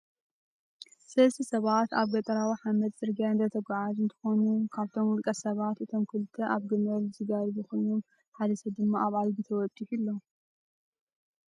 ሰለስተ ሰባት ኣብ ገጠራዊ ሓመድ ጽርግያ እንዳተጓዓዙ እንትኮኑ፣ ካብቶም ውልቀ-ሰባት እቶም ክልተ ኣብ ግመል ዝጋልቡ ኮይኖም፣ ሓደ ሰብ ድማ ኣብ ኣድጊ ተወጢሑ ኣሎ።